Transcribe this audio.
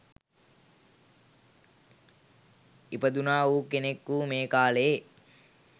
ඉපදුණා වූ කෙනෙකු මේ කාලයේ